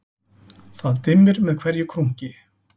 Það dimmir með hverju krunki